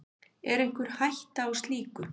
Er einhver hætta á slíku?